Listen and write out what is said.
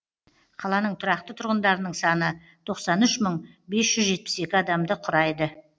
қаланың тұрақты тұрғындарының саны тоқсан үш мың бес жүз жетпіс екі адамды құрайды